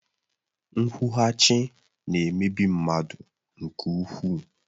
Nkwughachi na-emebi mmadụ nke ukwuu